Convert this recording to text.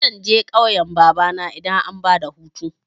Zan je ƙauyan babana idan an bada hutu.